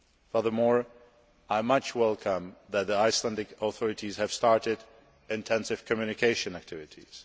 Furthermore, I warmly welcome the fact that the Icelandic authorities have started intensive communication activities.